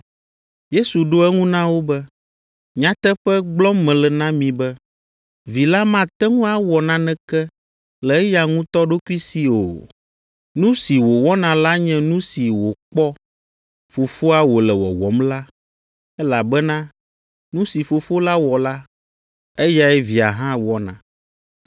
Yesu ɖo eŋu na wo be, “Nyateƒe gblɔm mele na mi be, Vi la mate ŋu awɔ naneke le eya ŋutɔ ɖokui si o; nu si wòwɔna la nye nu si wòkpɔ Fofoa wòle wɔwɔm la, elabena nu si Fofo la wɔ la, eyae Via hã wɔna.